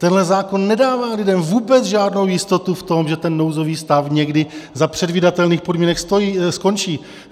Tenhle zákon nedává lidem vůbec žádnou jistotu v tom, že ten nouzový stav někdy za předvídatelných podmínek skončí.